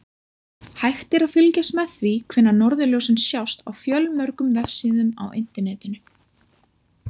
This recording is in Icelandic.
Hægt er að fylgjast með því hvenær norðurljósin sjást á fjölmörgum vefsíðum á Internetinu.